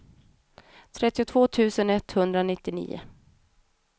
trettiotvå tusen etthundranittionio